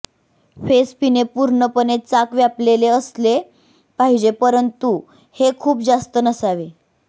face पिणे पूर्णपणे चाक व्यापलेले असले पाहिजे परंतु हे खूप जास्त नसावे